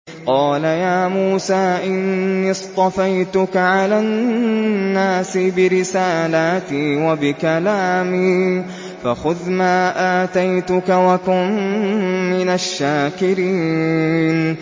قَالَ يَا مُوسَىٰ إِنِّي اصْطَفَيْتُكَ عَلَى النَّاسِ بِرِسَالَاتِي وَبِكَلَامِي فَخُذْ مَا آتَيْتُكَ وَكُن مِّنَ الشَّاكِرِينَ